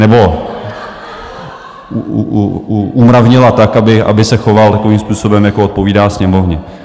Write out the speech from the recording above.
Nebo umravnila tak, aby se choval takovým způsobem, jako odpovídá Sněmovně.